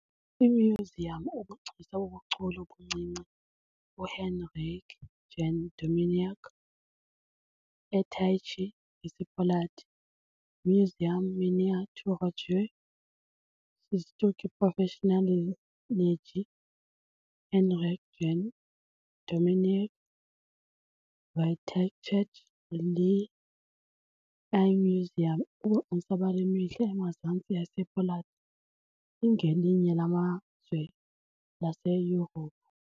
IMyuziyam Ubugcisa bobuchule obuncinci UHenryk Jan Dominiak eTychy, ngesiPoland - "Muzeum Miniaturowej Sztuki Profesjonalnej Henryk Jan Dominiak w Tychach" - le i-myuziyam Ubugcisa bale mihla emazantsi yase ePoland, ingelinye lamazwe laseYurophu.